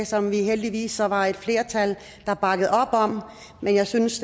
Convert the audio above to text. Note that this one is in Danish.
som vi heldigvis så var et flertal der bakkede op om men jeg synes